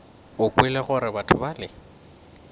o kwele gore batho bale